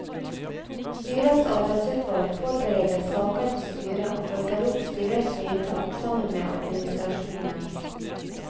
Styrets arbeidsutvalg forbereder saker for styret og følger opp styrets vedtak sammen med administrasjonen.